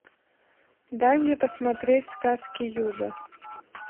дай мне посмотреть сказки юга